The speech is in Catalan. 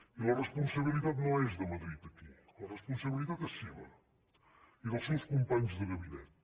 i la responsabilitat no és de madrid aquí la responsabilitat és seva i dels seus companys de gabinet